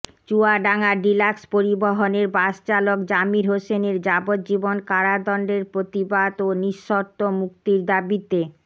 Chuadanga deluxe পরিবহনের বাসচালক জামির হোসেনের যাবজ্জীবন কারাদণ্ডের প্রতিবাদ ও নিঃশর্ত মুক্তির দাবিতে